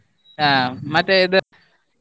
ಹಾ ಮತ್ತೆ ಇದು.